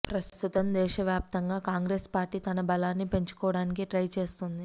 ప్రస్తుతం దేశ వ్యాప్తంగా కాంగ్రెస్ పార్టీ తన బలాన్ని పెంచుకోవడానికి ట్రై చేస్తోంది